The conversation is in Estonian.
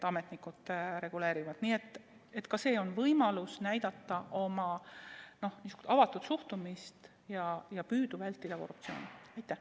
Ka see on võimalus näidata oma avatud suhtumist ja püüda vältida korruptsiooni.